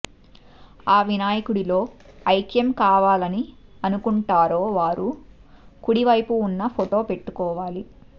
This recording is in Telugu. ఆ వినాయకుడిలో ఐక్యం కావాలని అనుకుంటారో వారు కుడివైపు ఉన్న ఫోటో పెట్టుకోవాలి